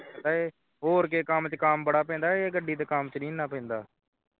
ਹੋਰ ਕੀ ਸੀ ਕੰਮ ਦੇ ਵਿੱਚ ਕੰਮ ਬੜਾ ਪੈਂਦਾ ਹੈ ਕਹਿੰਦਾ ਹੈ ਇਹ ਗੱਡੀ ਦੇ ਕੰਮ ਦੇ ਵਿੱਚ ਇਹਨਾਂ ਨਹੀਂ ਪੈਂਦਾ ਹੈ